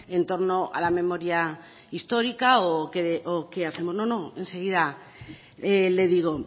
en torno a la memoria histórica o qué hacemos no no enseguida le digo